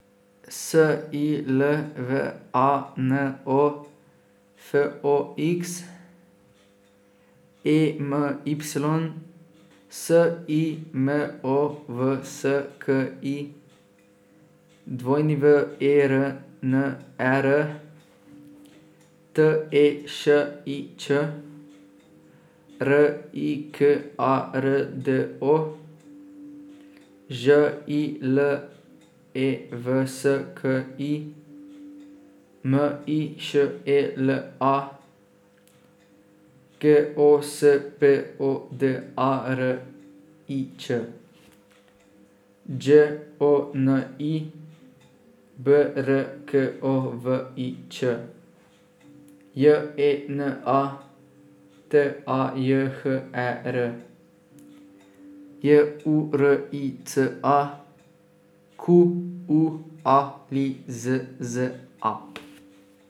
S I L V A N O, F O X; E M Y, S I M O V S K I; W E R N E R, T E Š I Ć; R I K A R D O, Ž I L E V S K I; M I Š E L A, G O S P O D A R I Č; Đ O N I, B R K O V I Ć; J E N A, T A J H E R; J U R I C A, Q U A L I Z Z A.